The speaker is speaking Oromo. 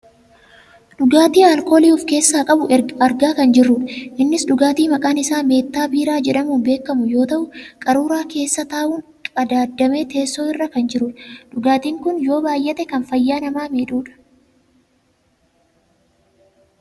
Dhugaatii alkoolii of keessaa qabu argaa kan jirrudha. Innis dhugaatii maqaan isaa meettaa biiraa jedhamuun beekkamu yoo ta'u qaruuraa keessa taa'uun qadaaddamee teessoo irra kan jirudha. Dhugaatiin kun yoo baayyate kan fayyaa namaa miidhudha.